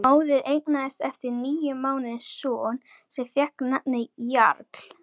Móðir eignaðist eftir níu mánuði son sem fékk nafnið Jarl.